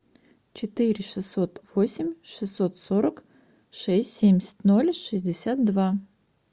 четыре шестьсот восемь шестьсот сорок шесть семьдесят ноль шестьдесят два